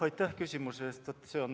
Aitäh küsimuse eest!